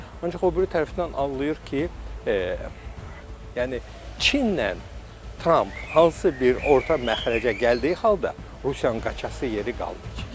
Ancaq o biri tərəfdən anlayır ki, yəni Çinlə Tramp hansı bir orta məxrəcə gəldiyi halda Rusiyanın qaçası yeri qalmayacaq.